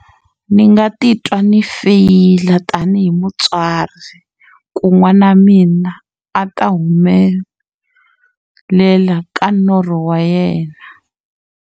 Ndzi nga titwa ndzi feyila tanihi mutswari ku n'wana wa mina a ta humelela ka norho wa yena.